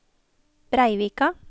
Breivika